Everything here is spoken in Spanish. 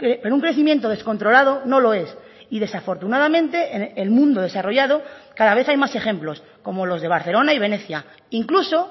pero un crecimiento descontrolado no lo es y desafortunadamente en el mundo desarrollado cada vez hay más ejemplos como los de barcelona y venecia incluso